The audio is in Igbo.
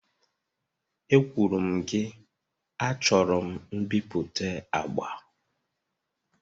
Ekwuru m gị, achọrọ m mbipụta agba!